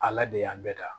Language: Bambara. Ala de y'an bɛɛ da